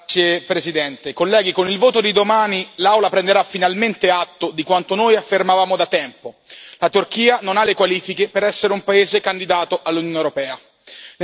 Signora Presidente, onorevoli colleghi, con il voto di domani l'Aula prenderà finalmente atto di quanto noi affermavamo da tempo la Turchia non ha le qualifiche per essere un paese candidato all'Unione europea.